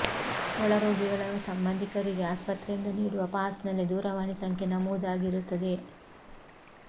ಒಳರೋಗಿಗಳ ಸಂಬಂಧಿಕರಿಗೆ ಆಸ್ಪತ್ರೆಯಿಂದ ನೀಡುವ ಪಾಸ್ ನಲ್ಲಿ ದೂರವಾಣಿ ಸಂಖ್ಯೆ ನಮೂದಾಗಿರುತ್ತದೆ